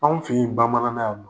Anw fe yen bamanana yannɔ